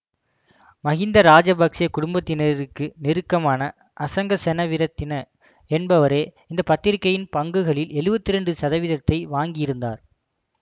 மகிந்த ராசபக்ச குடும்பத்தினருக்கு நெருக்கமான அசங்க செனவிரத்தின என்பவரே இந்த பத்திரிகையின் பங்குகளில் எழுவத்தி இரண்டு சதவீதத்தை வாங்கியிருந்தார்